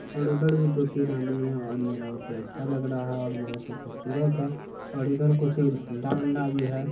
और उधर भी दो-तीन आदमी है और ये बहुत ही अच्छा लग रहा है और बहुत ही खूबसूरत है और इधर कुछ झंडा-वंडा भी है।